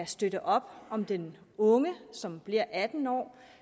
støtte op om den unge som bliver atten år